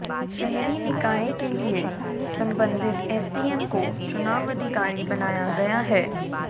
शहरी निकाय के लिए संबंधित एसडीएम को चुनाव अधिकारी बनाया गया है